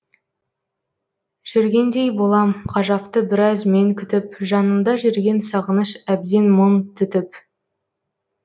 жүргендей болам ғажапты біраз мен күтіп жанымда жүрген сағыныш әбден мың түтіп